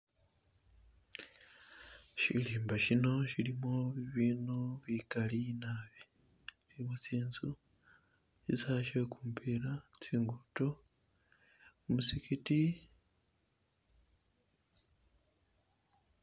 Shirimba shino shilimo bibindu bigali naabi mulimo tsinzu, shisawe shegumupila, tsingudo, muzigiti.